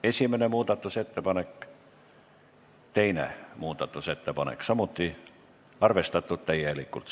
Esimene muudatusettepanek ja teine muudatusettepanek, arvestatud täielikult.